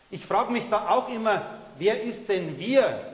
Ich frage mich da auch immer Wer ist denn Wir?